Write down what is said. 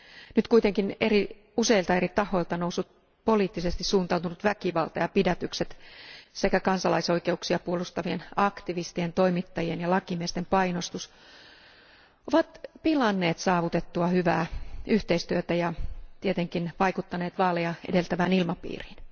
Nyt kuitenkin useilta eri tahoilta noussut poliittisesti suuntautunut väkivalta ja pidätykset sekä kansalaisoikeuksia puolustavien aktivistien, toimittajien ja lakimiesten painostus ovat pilanneet saavutettua hyvää yhteistyötä ja tietenkin vaikuttaneet vaaleja edeltävään ilmapiiriin.